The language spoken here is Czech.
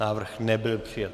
Návrh nebyl přijat.